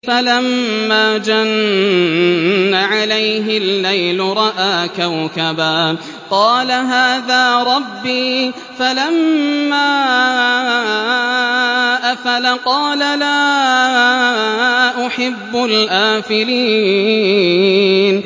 فَلَمَّا جَنَّ عَلَيْهِ اللَّيْلُ رَأَىٰ كَوْكَبًا ۖ قَالَ هَٰذَا رَبِّي ۖ فَلَمَّا أَفَلَ قَالَ لَا أُحِبُّ الْآفِلِينَ